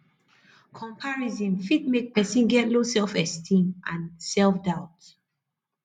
comparison fit make person get low self esteem and self doubt